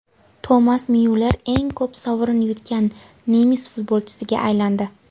Tomas Myuller eng ko‘p sovrin yutgan nemis futbolchisiga aylandi.